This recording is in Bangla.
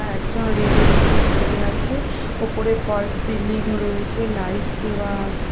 একজন রেড -এর ওপর পড়ে আছে ওপরে ফলস সিলিং রয়েছে লাইট দেওয়া আছে।